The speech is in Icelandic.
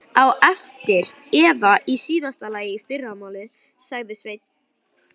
Á eftir eða í síðasta lagi í fyrramálið, sagði Sveinn.